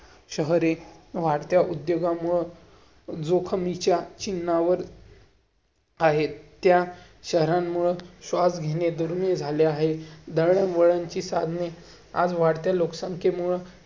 आपणच त्याचे म्हणजे जबाबदार आहोत आपणच हे केलं पाहिजे नेहमीच सरकार प्रत्येक गोष्टी करण्यापेक्षा आपणच.